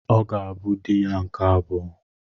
Ọ ga-abụ dị ya nke abụọ.